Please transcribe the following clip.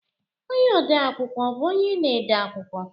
Ọnye ode- akwụkwọ bụ onye na-ede akwụkwọ